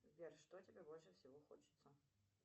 сбер что тебе больше всего хочется